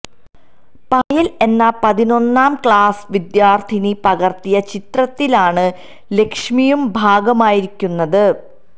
പായല് എന്ന പതിനൊന്നാം ക്ലാസ് വിദ്യാര്ത്ഥിനി പകര്ത്തിയ ചിത്രത്തിലാണ് ലക്ഷ്മിയും ഭാഗമായിരിക്കുന്നത്